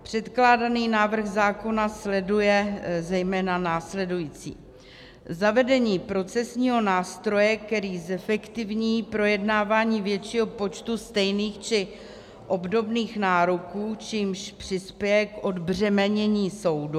Předkládaný návrh zákona sleduje zejména následující: zavedení procesního nástroje, který zefektivní projednávání většího počtu stejných či obdobných nároků, čímž přispěje k odbřemenění soudu.